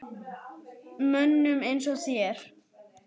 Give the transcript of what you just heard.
Mönnum eins og þér?